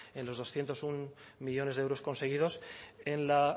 en los doscientos uno millónes de euros conseguidos en la